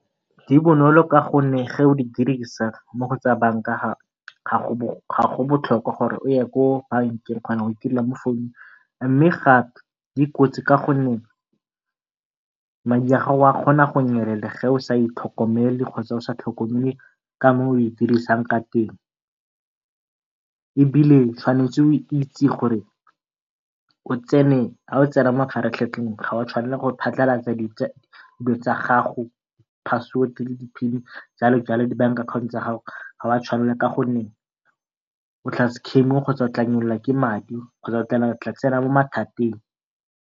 Di bonolo ka gonne ge o di dirisa mo go tsa banka ga go botlhokwa gore o ye ko bankeng o kgona go itirela mo founung. Mme gape di kotsi ka gonne madi a gago a kgona go nyelela ge o sa itlhokomele kgotsa o sa tlhokomele ka moo o e dirisang ka teng, ebile o tshwanetse go itse gore ha o tsena mo mafaratlhatlheng ga wa tshwanela go phasalatsa dilo tsa gago password le di pin jalojalo le di bank account tsa gago ha wa tshwanela. Ka gonne o tla kgotsa wa nyelelelwa ke madi kgotsa o tla tsena mo mathateng.